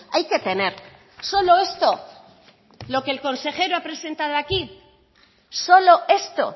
hay que tener solo esto lo que el consejero ha presentado aquí solo esto